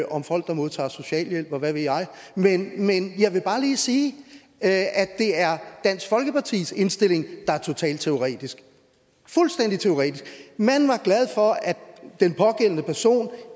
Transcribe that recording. om folk der modtager socialhjælp og hvad ved jeg men jeg vil bare lige sige at det er dansk folkepartis indstilling der er totalt teoretisk fuldstændig teoretisk man var glad for at den pågældende person